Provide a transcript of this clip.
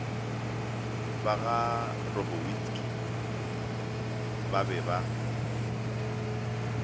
ba garobowitsky ba be ba